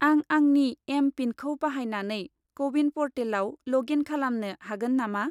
आं आंनि एम.पिनखौ बाहायनानै क' विन प'र्टेलाव ल'ग इन खालामनो हागोन नामा?